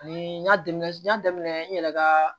Ni n y'a daminɛ n y'a daminɛ n yɛrɛ ka